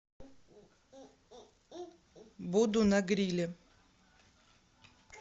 буду на гриле